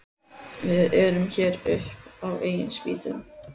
Við erum hér upp á eigin spýtur.